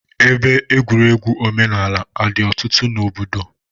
Ebe egwuregwu omenaala adị ọtụtụ n'ime obodo?